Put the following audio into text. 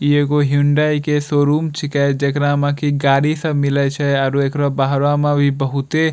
इ एगो ह्युंडाई के शोरूम छीके जेकरा म के गाड़ी सब मिलय छे आरू एकरा बाहरा में भी इ बहुते --